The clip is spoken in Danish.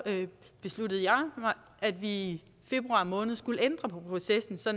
besluttede jeg at vi i februar måned skulle ændre på processen så